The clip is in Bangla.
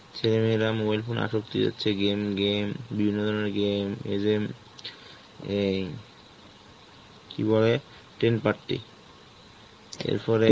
ছেলেমেয়েরা mobile phone হচ্ছে game game, বিভিন্ন ধরনের game, এজেম~ এই কি বলে, teen patti, এরপরে